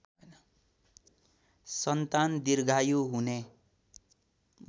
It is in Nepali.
सन्तान दीर्घायु हुने